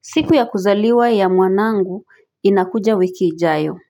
Siku ya kuzaliwa ya mwanangu inakuja wikiijayo